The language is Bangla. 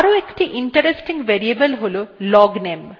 আরো একটি interesting variable হল logname